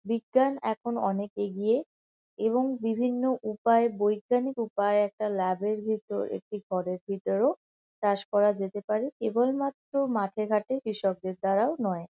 বিজ্ঞান এখন অনেক এগিয়ে এবং বিভিন্ন উপায়ে বৈজ্ঞানিক উপায়ে একটা ল্যাব এর ভিতর একটি ঘরের ভিতরও চাষ করা যেতে পারে। কেবলমাত্র মাঠে-ঘটে কৃষকদের দ্বারাও নয়।